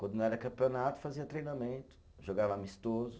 Quando não era campeonato, fazia treinamento, jogava amistoso.